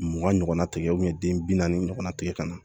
Mugan ɲɔgɔnna tigɛ den bi naani ɲɔgɔnna tigɛ ka na